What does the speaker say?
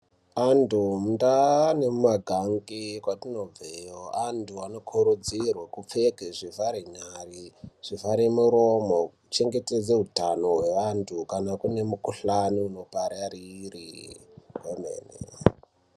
Antu muntaa nemumagange, kwatinobveyo, antu anokurudzirwe kupfeke zvivharenyare, zvivhare muromo, kuchengetedze utano hweantu kana kune mukhuhlani unopararire, kwemene.